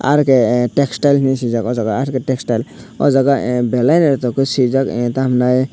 rk textile henui swijak aw jaaga asuk ke textile aw jaga ahh belai no doco swijak ah tamo henai.